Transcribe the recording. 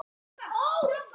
Fann ekki til hræðslu núna.